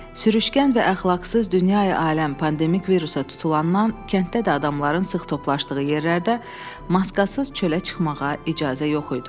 Sürüşkən və əxlaqsız dünyaya aləm pandemik virusa tutulandan, kənddə də adamların sıx toplandığı yerlərdə maskasız çölə çıxmağa icazə yox idi.